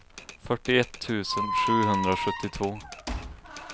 fyrtioett tusen sjuhundrasjuttiotvå